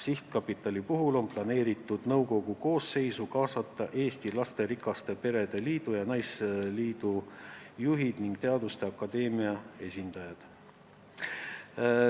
Sihtkapitali nõukogu koosseisu on kavas kaasata Eesti Lasterikaste Perede Liidu ja Eesti Naisliidu juhid ning Eesti Teaduste Akadeemia esindajad.